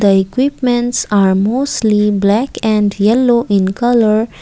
the equipments are mostly black and yellow in colour.